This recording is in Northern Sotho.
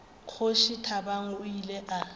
kgoši thabang o ile a